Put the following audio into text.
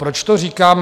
Proč to říkám?